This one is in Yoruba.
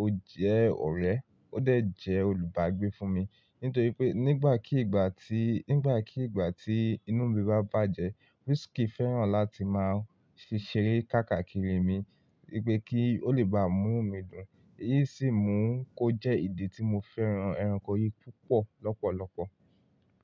ó jẹ́ ọ̀rẹ́, ó dà jẹ́ olùbágbé fún mi. Nítorí pé nígbà kígbà tí, nígbà kígbà tí inú mi bá bàjẹ́, whiskey fẹ́ràn láti máa ṣeré káàkakiri mi wípé kí ó lè bá mú nu midùn. Èyí sì mú kó jẹ́ ìdí tí mo fẹ́ràn ẹranko yìí púpọ̀ lọ́pọ̀lọpọ̀.